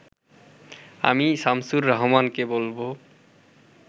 আমি শামসুর রাহমানকে বলব